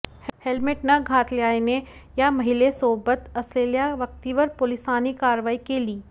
helmet न घातल्याने या महिलेसोबत असलेल्या व्यक्तीवर पोलिसांनी कारवाई केली